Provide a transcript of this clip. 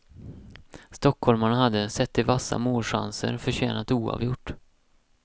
Stockholmarna hade, sett till vassa målchanser, förtjänat oavgjort.